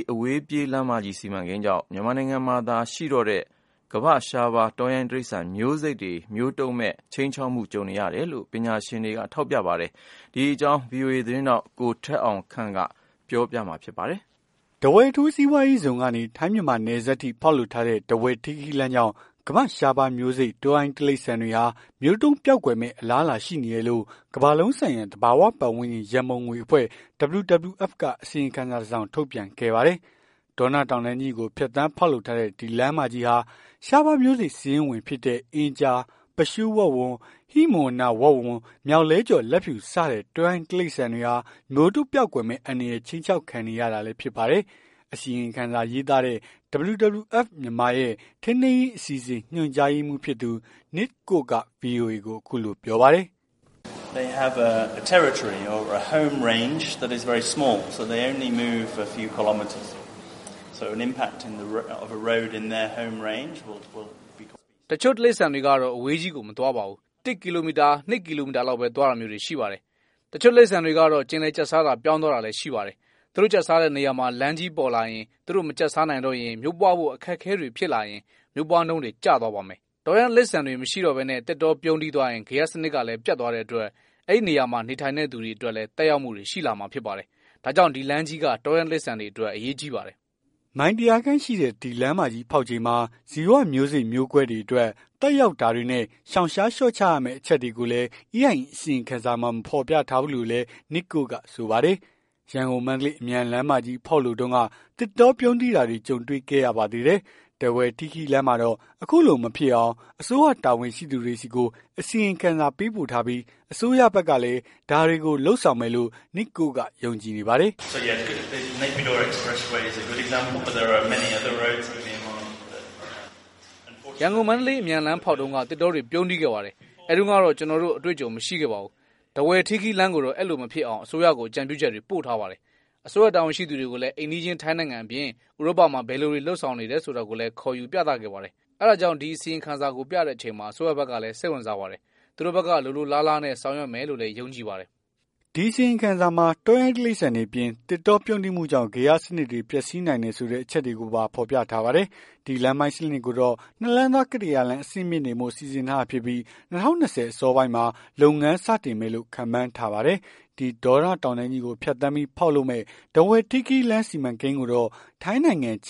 အဝေးပြေးလမ်းမကြီး စီမံကိန်းကြောင့် မြန်မာနိုင်ငံမှာသာရှိတော့တဲ့ ကမ္ဘာ့ရှားပါးမျိုးစိတ် တောရိုင်း တိရစ္ဆာန်တွေအပေါ် ခြိမ်းခြောက်မှုတွေရှိနေတယ်လို့ ပညာရှင်တွေကပြောပါတယ်။ ဒီအကြောင်းဗွီအိုအေ မြန်မာပိုင်း သတင်းထောက် ကိုထက်အောင်ခန့်က သတင်းပေးပို့ထားပါတယ်။ ထားဝယ်အထူးစီးပွားရေးဇုန်ကနေ ထိုင်း- မြန်မာနယ်စပ်ထိ ဖောက်လုပ်ထားတဲ့ ထားဝယ်-ထီးခီးလမ်း ကြောင့် ကမ္ဘာ့ ရှားပါးမျိုးစိတ် တောရိုင်းတိရစ္ဆာန်တွေဟာ မျိုးတုံးပျောက်ကွယ်မယ့် အလားအလာရှိနေတယ်လို့ ကမ္ဘာလုံးဆိုင်ရာ သဘာဝပတ်သန်းကျင် ရန်ပုံငွေအဖွဲ့ WWF က အစီရင်ခံစာ တစောင် ထုတ်ပြန်ခဲ့ပါတယ်။ ဒေါနတောင်တန်းကြီးကို ဖြတ်သန်းဖောက်လုပ်ထားတဲ့ ဒီလမ်းမကြီးဟာ ရှားပါးမျိုးစိတ်စာရင်းဝင်ဖြစ်တဲ့ အင်းကျား ၊ ပသျှူးဝက်ဝံ ၊ ဟိမဝန္တာဝက်ဝံ ၊ မျောက်လွှဲကျော် လက်ဖြူ စတဲ့ တောရိုင်းတိရစ္ဆာန်တွေဟာ မျိုးတုံး ပျောက်ကွယ်မယ့် အန္တရာယ် ခြိမ်းခြောက်ခံနေရတာလည်း ဖြစ်ပါတယ်။ အစီရင်ခံစာ ရေးသားတဲ့ WWF မြန်မာရဲ့ ထိန်းသိမ်းရေး အစီအစဉ် ညွှန်ကြားရေးမှူးဖြစ်သူ Nichk Cox က VOA ကို အခုလိုပြောပါတယ်။ "တချို့တိရစ္ဆာန်တွေကတော့ သူတို့ကအဝေးကြီးမသွားပါဘူး။ ၁ ကီလိုမီတာ ၂ ကီလိုမီတာလောက်ပဲ သွားတာမျိုးတွေရှိပါတယ်။ တချို့တိရစ္ဆာန်တွေကတော့ ကျင်လည်ကျက်စားတာ ပြောင်းသွားတာတွေလည်း ရှိပါတယ်။ သူတို့ကျက်စားတဲ့နေရာမှာ လမ်းကြီးပေါ်လာရင် သူတို့မကျက်စားနိုင်တော့ရင် မျိုးပွားဖို့အခက်အခဲ တွေဖြစ်လာရင် မျိုးပွားနှုန်းတွေက ကျသွားမယ်။ အဲ့အခါမှာ အဲ့ကလူတွေအတွက်ပါ သက်ရောက်မှုတွေရှိလာ နိုင်တယ်။ တောရိုင်းတိရစ္ဆာန်တွေမရှိတော့ဘဲ သစ်တောပြုန်းတီးသွားရင် ဂေဟစနစ်ကလည်း ပျက်သွားတဲ့ အတွက် အဲ့ဒေသမှာ နေထိုင်တဲ့လူတွေအတွက်လည်း သက်ရောက်မှုတွေ ရှိလာမှာဖြစ်ပါတယ်။ အဲ့ဒါကြောင့် ဒီလမ်းကြီးဟာ တောရိုင်းတိရစ္ဆာန်တွေအတွက် အရေးကြီးပါတယ်။" မိုင် ၁၀၀ ခန့်ရှိတဲ့ ဒီလမ်းမကြီးဖောက်ချိန်မှာ ဇီဝမျိုးစိတ်မျိုးကွဲတွေ အတွက် သက်ရောက်တာတွေနဲ့ ရှောင်ရှားလျော့ချရမယ့် အချက်တွေကိုလည်း EIA အစီရင်ခံစာမှာ မဖော်ပြထားဘူးလို့လည်း Nichk Cox ကဆိုပါတယ်။ ရန်ကုန်-မန္တလေး အမြန်လမ်းမကြီးဖောက်လုပ်တုန်းက သစ်တောပြုန်းတီးတာတွေ ကြုံတွေ့ခဲ့ရပါသေးတယ်။ ထားဝယ်-ထီးခီးလမ်းမှာတော့ အခုလိုမဖြစ်အောင် အစိုးရတာဝန်ရှိသူတွေဆီကို အစီရင်ခံစာပေးပို့ထားပြီး အစိုးရဘက်ကလည်း ဒါတွေကို လုပ်ဆောင်မယ်လို့ Nichk Cox ယုံကြည်နေပါတယ်။ "ရန်ကုန်-မန္တလေး အမြန်လမ်းဖောက်တုန်းက သစ်တောတွေ ပြုန်းတီးခဲ့ပါတယ်။ အဲ့တုန်းကတော့ သူတို့မှာ အတွေ့အကြုံမရှိခဲ့ပါဘူး။ ထားဝယ်-ထီးခီးလမ်းကိုတော့ အဲ့လိုမဖြစ်အောင် အစိုးရကို အကြံပြုချက်တွေ ပို့ထားပါတယ်။ အစိုးရတာဝန်ရှိသူတွေကိုလည်း အိမ်နီးချင်း ထိုင်းနိုင်ငံအပြင် ဥရောပမှာ ဘယ်လိုတွေ လုပ်ဆောင်နေတယ်ဆိုတာကို ခေါ်ယူပြသခဲ့ပါတယ်။ အဲ့ဒါကြောင့် ဒီအစီရင်ခံစာကို ပြတဲ့ အချိန်မှာ အစိုးရဘက်ကလည်း စိတ်ဝင်စားပါတယ်။ သူတို့ဘက်က လိုလိုလားလားနဲ့ ဆောင်ရွက်မယ်လို့လည်း ယုံကြည်ပါတယ်။" ဒီအစီရင်ခံစာမှာ တောရိုင်းတိရစ္ဆာန်တွေအပြင် သစ်တောပြုန်းတီးမှုကြောင့် ဂေဟစနစ်တွေ ပျက်စီးနိုင်တယ်ဆိုတဲ့ အချက်တွေကိုပါ ဖော်ပြထားပါတယ်။ ဒီလမ်းပိုင်းစနစ်ကိုတော့ နှစ်လမ်းသွား ကတ္တရာလမ်း အဆင့်မြှင့်တင်ဖို့ စီစဉ်ထားတာဖြစ်ပြီး ၂၀၂၀ အစောပိုင်းမှာ လမ်းဖောက်ခြင်း လုပ်ငန်းစတင်မယ်လို့ ခန့်မှန်းထားပါတယ်။ ဒီဒေါနတောင်တန်းကြီးကို ဖြတ်ပြီး ဖောက်လုပ်မယ့် ထားဝယ်-ထီးခီးလမ်းစီမံကိန်းကိုတော့ ထိုင်းနိုင်ငံ ချ